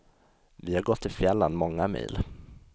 Vi har gått i fjällen många mil.